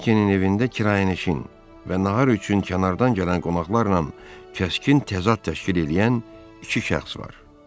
Vokenin evində kirayənişin və nahar üçün kənardan gələn qonaqlarla kəskin təzad təşkil eləyən iki şəxs var.